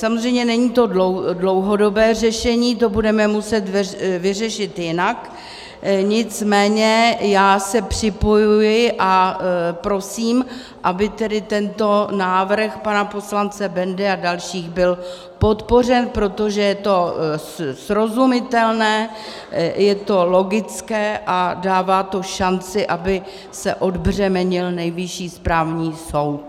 Samozřejmě není to dlouhodobé řešení, to budeme muset vyřešit jinak, nicméně já se připojuji a prosím, aby tedy tento návrh pana poslance Bendy a dalších byl podpořen, protože je to srozumitelné, je to logické a dává to šanci, aby se odbřemenil Nejvyšší správní soud.